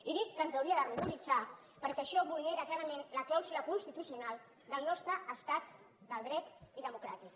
i dic que ens hauria de ruboritzar perquè això vulnera clarament la clàusula constitucional del nostre estat de dret i democràtic